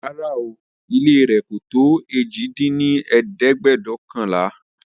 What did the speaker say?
Rárá ooo, ilé rẹ̀ kò tó èjì dín ní ẹ̀ẹ́dẹ́gbẹ́ọ̀kànlá